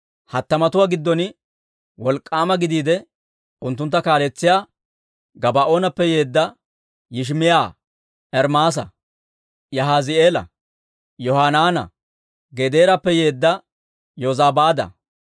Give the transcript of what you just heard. hattamatuwaa giddon wolk'k'aama gidiide, unttuntta kaaletsiyaa Gabaa'oonappe yeedda Yishimaa'iyaa, Ermaasa, Yahaazi'eela, Yohanaana, Gedeerappe yeedda Yozabaada,